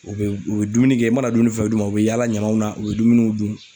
U bɛ u bɛ dumuni kɛ , i mana dumuni fɛn o fɛn d'u ma, u bɛ yaala ɲamanw na, u bɛ dumuniw dun.